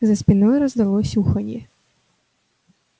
за спиной раздалось уханье